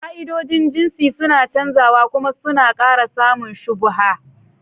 Ka'idojin jinsi suna canzawa kuma suna ƙara samun shubuha.